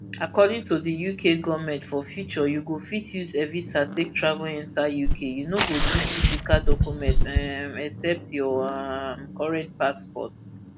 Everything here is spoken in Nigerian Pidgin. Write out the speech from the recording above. according to diuk goment for future you go fit use evisa take travel enta uk you no go need physical document um except your um current passport